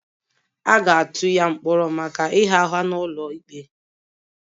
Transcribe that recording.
A ga-atụ ya mkpọrọ maka ịgha ụgha n'ụlọ ikpe